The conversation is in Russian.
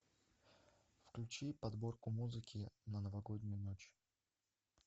включи подборку музыки на новогоднюю ночь